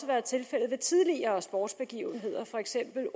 været tilfældet ved tidligere sportsbegivenheder for eksempel